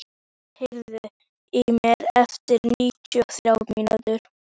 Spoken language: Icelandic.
Ugla, heyrðu í mér eftir níutíu og þrjár mínútur.